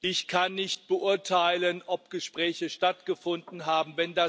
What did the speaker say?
Ich kann nicht beurteilen, ob Gespräche stattgefunden haben.